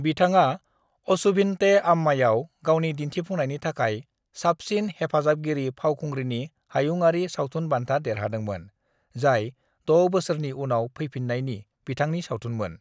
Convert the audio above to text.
"बिथाङा अचुभिन्ते अम्मायाव गावनि दिन्थिफुंनायनि थाखाय साबसिन हेफाजाबगिरि फावखुंग्रिनि हायुंयारि सावथुन बान्था देरहादोंमोन, जाय 6 बोसोरनि उनाव फैफिन्नायनि बिथांनि सावथुनमोन।"